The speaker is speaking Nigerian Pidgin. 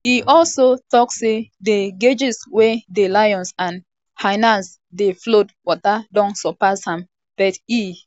e also tok say di cages wia di um lions and hyenas dey flood water don surpass am but e um